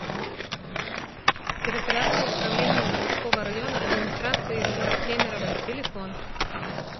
территориальное управление заводского района администрации г кемерово телефон